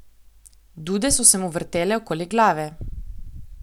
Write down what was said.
Dude so se mu vrtele okoli glave.